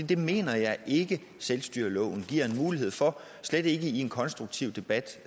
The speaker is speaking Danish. det mener jeg ikke selvstyreloven giver mulighed for og slet ikke i en konstruktiv debat